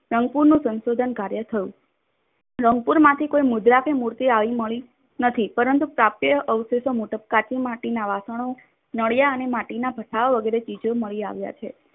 સંકુલનું સંશોધન કાર્ય થયું. રંગપુરમાંથી કોઈ મુદ્રા કે મૂર્તિ આવી મળી નથી. પરંતુ પ્રાપ્ય અવષેશો કાચી માટીના વાસણો મળ્યા અને માટીના ભથ્થાઓ વગેરે ચીજો મળી આવ્યા છે.